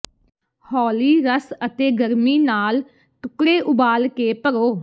ਹੌਲੀ ਰਸ ਅਤੇ ਗਰਮੀ ਨਾਲ ਟੁਕੜੇ ਉਬਾਲ ਕੇ ਭਰੋ